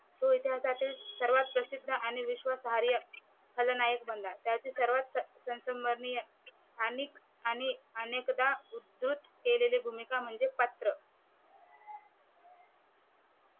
तो इतिहासातील सर्वात प्रसिद्ध आणि विश्वासहार्य खलनायक बनला. त्याची सर्वात ससबर्निय आणिक अनेकदा अनेक कौतुक केलेलं पात्र